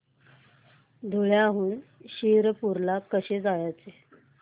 धुळ्याहून शिरपूर ला कसे जायचे